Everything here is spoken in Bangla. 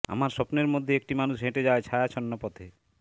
আমার স্বপ্নের মধ্যে একটি মানুষ হেঁটে যায় ছায়াছন্ন পথে